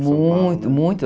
Muito, muito.